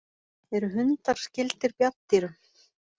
Eru hundar skyldir bjarndýrum?